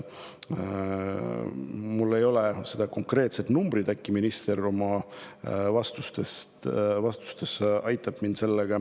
Mul ei ole konkreetset numbrit, äkki minister vastates aitab mind.